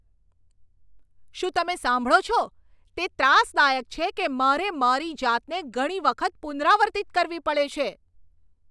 શું તમે સાંભળો છો? તે ત્રાસદાયક છે કે મારે મારી જાતને ઘણી વખત પુનરાવર્તિત કરવી પડે છે.